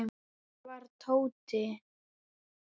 Hvar var Tóti?